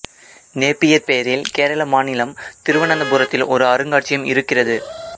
Napier பெயரில் கேரள மாநிலம் திருவனந்தபுரத்தில் ஒரு அருங்காட்சியகம் இருக்கிறது